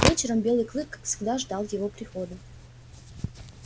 вечером белый клык как всегда ждал его прихода